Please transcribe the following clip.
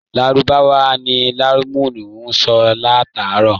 Lárúbáwá ni Ìmáàmù ń sọ látàárọ̀